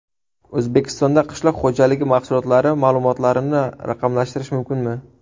O‘zbekistonda qishloq xo‘jaligi mahsulotlari ma’lumotlarini raqamlashtirish mumkinmi?.